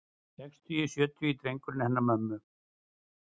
Sextugi, sjötugi drengurinn hennar mömmu.